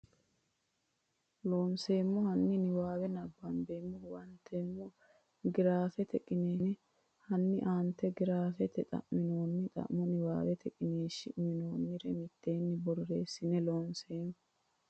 Loonseemmo hanni niwaawe nabbambe huwantoommo giraafete qiniishshi hanni aantete giraafete xa minoonni xa mo niwaawete qiniishshi uynoonnire mitteenni borreessino Loonseemmo.